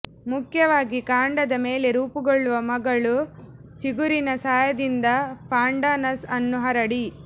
ಮುಖ್ಯವಾಗಿ ಕಾಂಡದ ಮೇಲೆ ರೂಪುಗೊಳ್ಳುವ ಮಗಳು ಚಿಗುರಿನ ಸಹಾಯದಿಂದ ಪಾಂಡಾನಸ್ ಅನ್ನು ಹರಡಿ